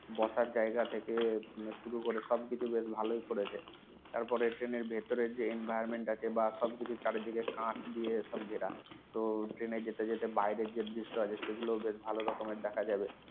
বসার জায়গা থেকে শুরুকরে সবকিছু বেশ ভালই করেছে তারপরে Train এর ভেতরে যে environment আছে বা সবকিছু চারদিকে কাচ দিয়ে সব ঘেরা তো Train যেতে যেতে যে বাইরের দৃশ্য আছে সেগুলো সব ভালো করে দেখা যাবে